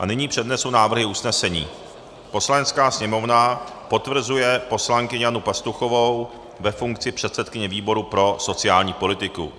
A nyní přednesu návrhy usnesení: "Poslanecká sněmovna potvrzuje poslankyni Janu Pastuchovou ve funkci předsedkyně výboru pro sociální politiku."